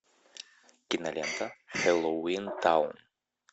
кинолента хэллоуинтаун